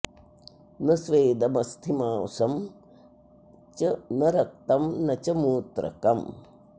न स्वेदमस्थिमासं च न रक्तं न च मूत्रकम्